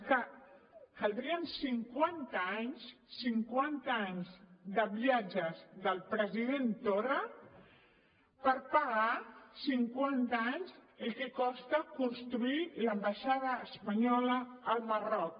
és que caldrien cinquanta anys cinquanta anys de viatges del president torra per pagar cinquanta anys el que costa construir l’ambaixada espanyola al marroc